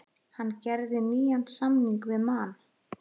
Hann gerði nýjan samning við Man.